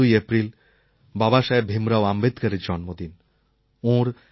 বিশেষ করে ১৪ই এপ্রিল বাবাসাহেব ভীমরাও অম্বেদকরএর জন্মদিন